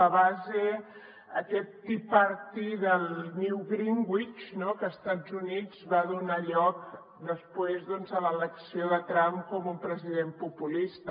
la base aquest tea party del new greenwich que a estats units va donar lloc després a l’elecció de trump com un president populista